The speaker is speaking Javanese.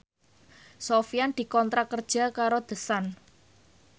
Sofyan dikontrak kerja karo The Sun